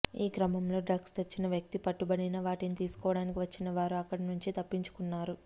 ఈ క్రమంలో డ్రగ్స్ తెచ్చిన వ్యక్తి పట్టుబడినా వాటిని తీసుకోవడానికి వచ్చిన వారు అక్కడ నుంచి తప్పించుకున్నారు